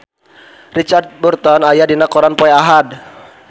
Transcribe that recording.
Richard Burton aya dina koran poe Ahad